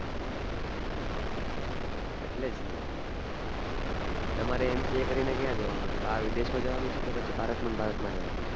એટલે જ ને તમારે MCA કરીને ક્યાં જવાનું છે બાર વિદેશમાં જવાનું છે કે પછી ભારતમાં ને ભારતમાં રેવાનું છે